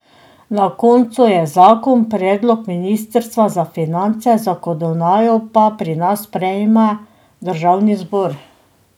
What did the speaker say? Na koncu je zakon predlog ministrstva za finance, zakonodajo pa pri nas sprejema državni zbor.